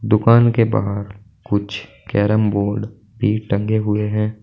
दुकान के बाहर कुछ कैरम बोर्ड भी टंगे हुए हैं।